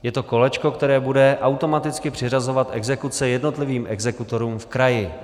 Je to kolečko, které bude automaticky přiřazovat exekuce jednotlivým exekutorům v kraji.